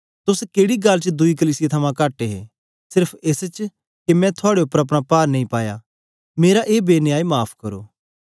तोस केड़ी गल्ल च दुई कलीसिया थमां कट हे सेर्फ एस च के मैं थुआड़े उपर अपना पार नेई पाया मेरा ए बेन्याय माफ़ करो